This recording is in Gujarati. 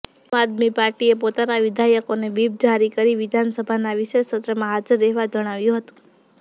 આમ આદમી પાર્ટીએ પોતાના વિધાયકોને વ્હીપ જારી કરીને વિધાનસભાના વિશેષ સત્રમાં હાજર રહેવા જણાવ્યું હતું